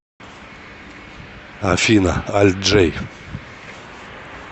афина альт джей